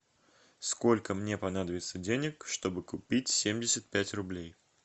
сколько мне понадобится денег чтобы купить семьдесят пять рублей